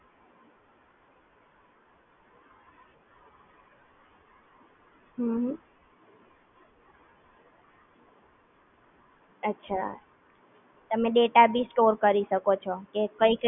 હા હા એ બધી problem માંથી solution મળી જતું હોય છે